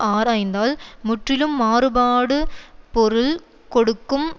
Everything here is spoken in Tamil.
ஆராய்ந்தால் முற்றிலும் மாறுபாடு பொருள் கொடுக்கும்